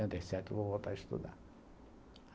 Setenta e sete, eu vou voltar a estudar.